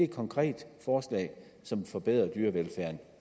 konkret forslag som forbedrer dyrevelfærden